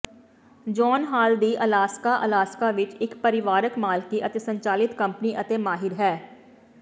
John Hall ਦੀ Alaska Alaska ਵਿੱਚ ਇੱਕ ਪਰਿਵਾਰਕ ਮਾਲਕੀ ਅਤੇ ਸੰਚਾਲਿਤ ਕੰਪਨੀ ਅਤੇ ਮਾਹਿਰ ਹੈ